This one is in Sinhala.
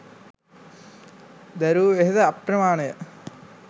දැරූ වෙහෙස අප්‍රමාණය